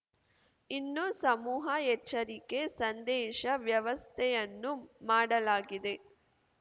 ಇನ್ನು ಸಮೂಹ ಎಚ್ಚರಿಕೆ ಸಂದೇಶ ವ್ಯವಸ್ಥೆಯನ್ನೂ ಮಾಡಲಾಗಿದೆ